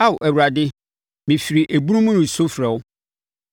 Ao Awurade, mefiri ebunu mu resu frɛ wo;